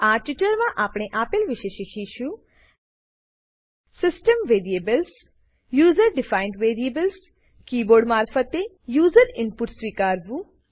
આ ટ્યુટોરીયલમાં આપણે આપેલ વિશે શીખીશું સિસ્ટમ વેરિએબલ્સ સીસ્ટમ વેરીએબલો user defined variables user defined અને કીબોર્ડ મારફતે યુઝર ઈનપુટ સ્વીકારવું